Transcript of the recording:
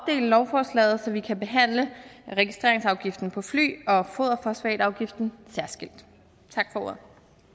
lovforslaget så vi kan behandle registreringsafgiften på fly og foderfosfatafgiften særskilt tak for ordet